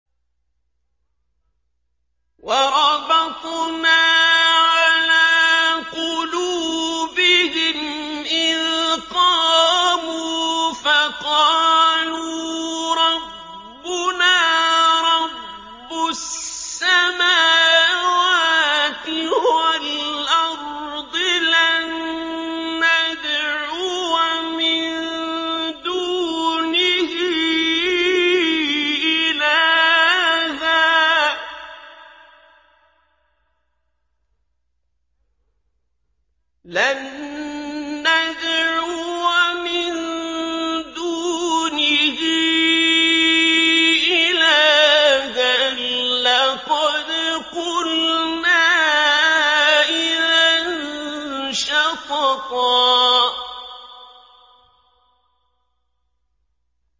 وَرَبَطْنَا عَلَىٰ قُلُوبِهِمْ إِذْ قَامُوا فَقَالُوا رَبُّنَا رَبُّ السَّمَاوَاتِ وَالْأَرْضِ لَن نَّدْعُوَ مِن دُونِهِ إِلَٰهًا ۖ لَّقَدْ قُلْنَا إِذًا شَطَطًا